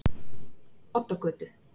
Oddagötu